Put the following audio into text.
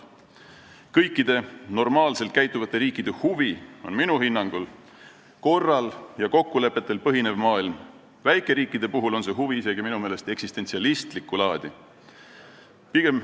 Minu hinnangul on kõikide normaalselt käituvate riikide huvi, et maailm põhineks korral ja kokkulepetel, väikeriikidel on see huvi minu meelest isegi eksistentsialistlikku laadi.